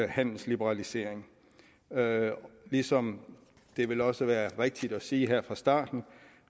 handelsliberalisering ligesom det vel også er rigtigt at sige her fra starten